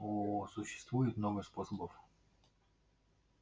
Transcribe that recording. о существует много способов